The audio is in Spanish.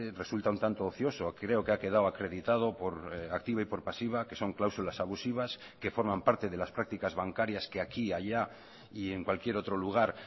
resulta un tanto ocioso creo que ha quedado acreditado por activa y por pasiva que son cláusulas abusivas y que forman parte de las prácticas bancarias que aquí y allá y en cualquier otro lugar